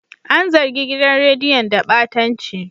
An zargi gidan rediyon da batanci.